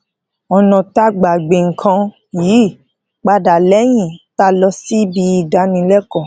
ònà tá gbà gbìn nǹkan yí padà léyìn tá lọ síbi ìdánilékòó